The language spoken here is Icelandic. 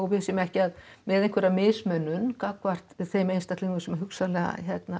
við séum ekki með mismunun gagnvart þeim einstaklingum sem hugsanlega